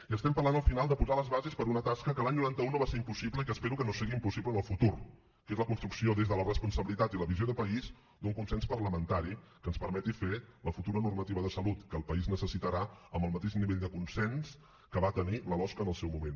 i estem parlant al final de posar les bases per a una tasca que l’any noranta un no va ser impossible i que espero que no sigui impossible en el futur que és la construcció des de la responsabilitat i la visió de país d’un consens parlamentari que ens permeti fer la futura normativa de salut que el país necessitarà amb el mateix nivell de consens que va tenir la losc en el seu moment